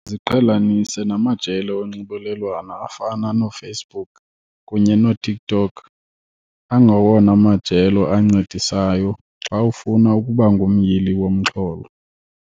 Ziqhelanise namajelo onxibelelwano afana nooFacebook kunye nooTikTok, angawona majelo ancedisayo xa ufuna ukuba ngumyili womxholo.